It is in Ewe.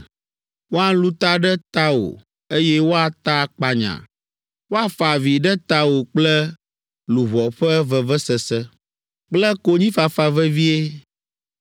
Woalũ ta ɖe tawò, eye woata akpanya. Woafa avi ɖe tawò kple luʋɔ ƒe vevesese kple konyifafa vevie.